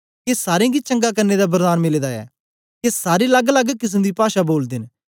के सारें गी चंगा करने दा वरदान मिले दा ऐ के सारे लगलग किसम दी पाषा बोलदे न